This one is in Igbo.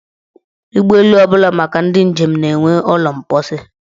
Ụgbọelu ọbụla maka ndị njem na-enwe ụlọ mposi.